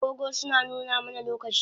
Agogo suna nuna mana lokaci